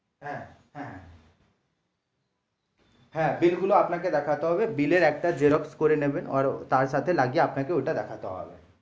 হ্যাঁ হ্যাঁ হ্যাঁ bill গুলো আপনাকে দেখাতে হবে bill এর একটা xerox করে নেবেন তার সাথে লাগিয়ে আপনাকে ওটা দেখাতে হবে।